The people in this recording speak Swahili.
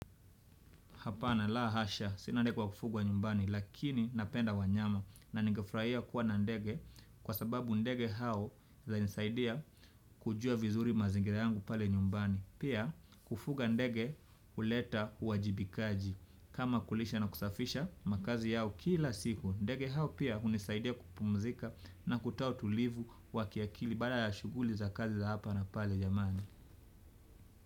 Hapana la hasha sina ndege wa kufugwa nyumbani lakini napenda wanyama na ningefurahia kuwa na ndege kwa sababu ndege hao za nisaidia kujua vizuri mazingira yangu pale nyumbani pia kufuga ndege uleta uwajibikaji kama kulisha na kusafisha makazi yao kila siku ndege hao pia hunisaidia kupumzika na kutoa utulivu wa kiakili baada ya shughuli za kazi za hapa na pale jamani.